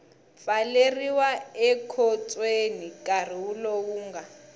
pfaleriwa ekhotsweni nkarhi lowu nga